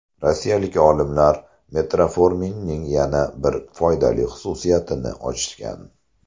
Rossiyalik olimlar metforminning yana bir foydali xususiyatini ochgan.